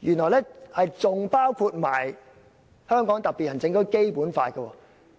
原來更包括香港特別行政區《基本法》。